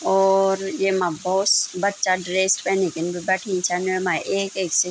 और येमा भोत बच्चा ड्रेस पैनिकिन भी बैठीं छन यमा एक-एक से --